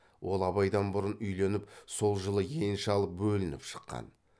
ол абайдан бұрын үйленіп сол жылы енші алып бөлініп шыққан